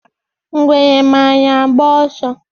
Ngwere mara agba ọsọ